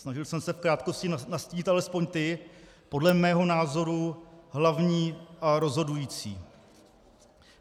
Snažil jsem se v krátkosti nastínit alespoň ty podle mého názoru hlavní a rozhodující.